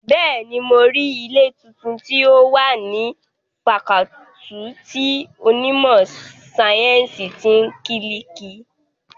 Bẹ́ẹ̀ni, mo rí ilé tuntun tí ó wà ní fakọọti ti onímọ̀ sáyẹ́ǹsì ti kílíìkì